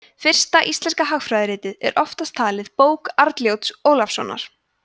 fyrsta íslenska hagfræðiritið er oftast talið bók arnljóts ólafssonar